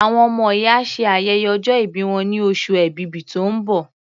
Àwọn ọmọ yìí á ṣe ayẹyẹ ọjọ́ ìbí wọn ní oṣù Èbìbí tó ń bọ̀.